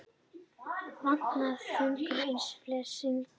vatnabobbar er þörungaætur eins og flestir sniglar